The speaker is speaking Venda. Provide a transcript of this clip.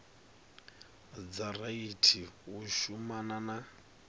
dza rathi u shumana na